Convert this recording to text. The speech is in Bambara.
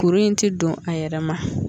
Kuru in ti don a yɛrɛ ma